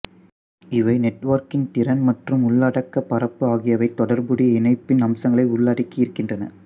இவை நெட்வொர்க்கின் திறன் மற்றும் உள்ளடக்கப் பரப்பு ஆகியவை தொடர்புடைய இணைப்பின் அம்சங்களை உள்ளடக்கி இருக்கின்றன